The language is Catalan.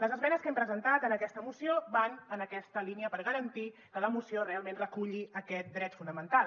les esmenes que hem presentat en aquesta moció van en aquesta línia per garantir que la moció realment reculli aquest dret fonamental